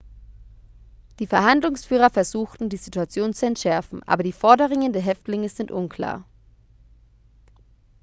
die verhandlungsführer versuchten die situation zu entschärfen aber die forderungen der häftlinge sind unklar